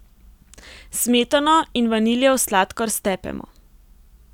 Smetano in vaniljev sladkor stepemo.